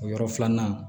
O yɔrɔ filanan